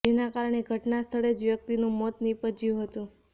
જેના કારણે ઘટના સ્થળે જ વ્યક્તિનું મોત નિપજ્યું હતું